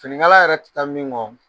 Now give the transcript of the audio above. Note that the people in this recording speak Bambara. Finikala yɛrɛ tɛ taa min kɔ